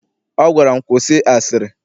Ọ gwara m, kwụsị asịrị!